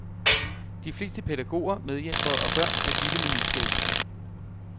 De fleste pædagoger, medhjælpere og børn er vilde med nyskabelsen.